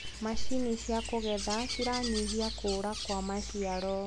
macinĩ cia kugethera ciranyihia kũũra kwa maciaro